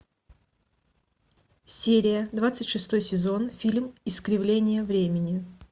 серия двадцать шестой сезон фильм искривление времени